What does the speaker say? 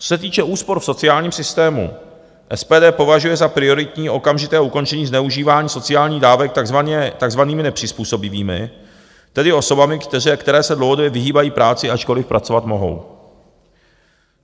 Co se týče úspor v sociálním systému, SPD považuje za prioritní okamžité ukončení zneužívání sociálních dávek takzvanými nepřizpůsobivými, tedy osobami, které se dlouhodobě vyhýbají práci, ačkoliv pracovat mohou.